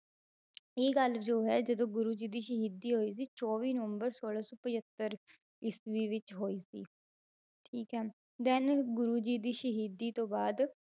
ਇਹ ਗੱਲ ਜੋ ਹੈ ਜਦੋਂ ਗੁਰੂ ਜੀ ਦੀ ਸ਼ਹੀਦੀ ਹੋਈ ਸੀ ਚੌਵੀ ਨਵੰਬਰ ਸੋਲਾਂ ਸੌ ਪਜੱਤਰ ਈਸਵੀ ਵਿੱਚ ਹੋਈ ਸੀ, ਠੀਕ ਹੈ then ਗੁਰੂ ਜੀ ਦੀ ਸ਼ਹੀਦੀ ਤੋਂ ਬਾਅਦ